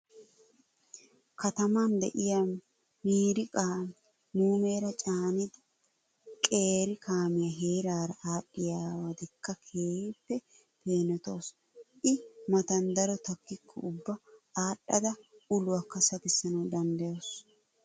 Kataman de"iyaa miiriqa muumeera caanida qeeri kaamiyaa heeraara aadhdhayiddakka keehippe peenotawusu. I matan daro takkikko ubba aadhdhada uluwaakka sakissanawu danddayawusu.